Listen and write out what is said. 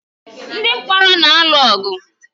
Ndị mkpọrọ na-alụ ọgụ.